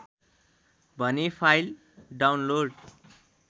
भने file download